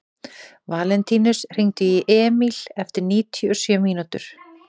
Valentínus, hringdu í Emíl eftir níutíu og sjö mínútur.